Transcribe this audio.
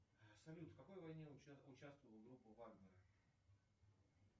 салют в какой войне участвовала группа вагнера